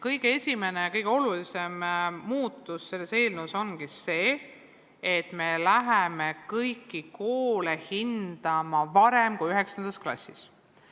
Kõige esimene ja kõige olulisem muudatus selles eelnõus ongi see, et me läheme koole hindama varem kui 9. klassis.